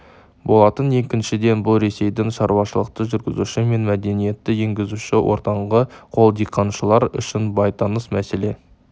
болатын екіншіден бұл ресейдің шаруашылықты жүргізуші мен мәдениетті енгізуші ортаңғы қол диқаншылар үшін бейтаныс мәселе